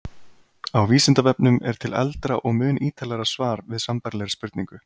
Á Vísindavefnum er til eldra og mun ítarlegra svar við sambærilegri spurningu.